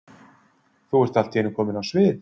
Þú ert allt í einu komin á svið?